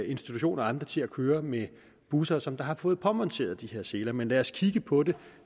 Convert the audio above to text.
institutioner og andre til at køre med busser som har fået påmonteret seler men lad os kigge på det